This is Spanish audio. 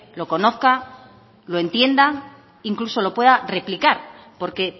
lo conozca lo entienda incluso lo pueda replicar porque